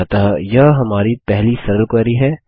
अतः यह हमारी पहली सरल क्वेरी है